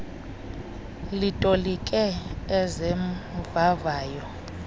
litolike eze mvavayo